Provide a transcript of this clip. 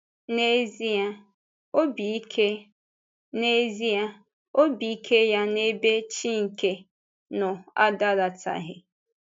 N’ezie, ọ̀bì ike N’ezie, ọ̀bì ike ya n’ebe Chínkè nọ adalátaghị.